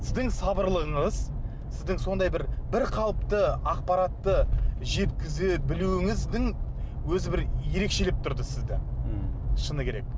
сіздің сабырлылығыңыз сіздің сондай бір бірқалыпты ақпаратты жеткізе білуіңіздің өзі бір ерекшелеп тұрды сізді ммм шыны керек